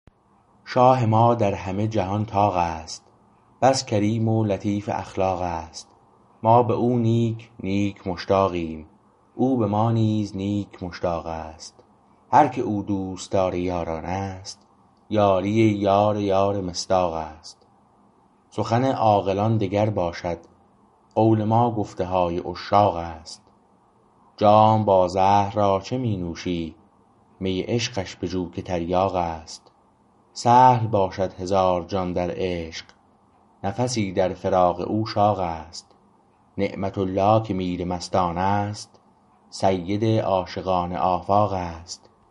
شاه ما در همه جهان طاق است بس کریم و لطیف اخلاق است ما به او نیک نیک مشتاقیم او به ما نیز نیک مشتاق است هر که او دوستدار یاران است یاری یار یار مصداق است سخن عاقلان دگر باشد قول ما گفته های عشاق است جام با زهر را چه می نوشی می عشقش بجو که تریاق است سهل باشد هزار جان در عشق نفسی در فراق او شاق است نعمت الله که میر مستان است سید عاشقان آفاق است